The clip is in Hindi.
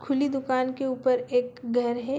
खुली दुकान के ऊपर एक घर है